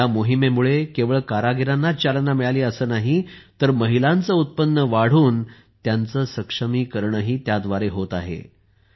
या मोहिमेमुळे केवळ कारागिरांनाच चालना मिळाली नाही तर महिलांचे उत्पन्न वाढून त्यांचे सक्षमीकरणही होत आहे